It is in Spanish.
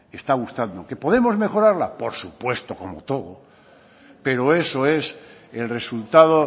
está gustando que podemos mejorarla por supuesto como todo pero eso es el resultado